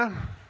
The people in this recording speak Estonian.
Aitäh!